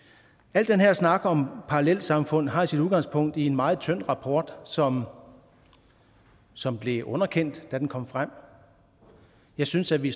al den her snak om parallelsamfund har sit udgangspunkt i en meget tynd rapport som som blev underkendt da den kom frem jeg synes at vi